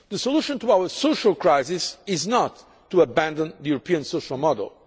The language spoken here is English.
The solution to our social crisis is not to abandon the European social